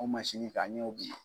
Ɔn ta an y'o bin.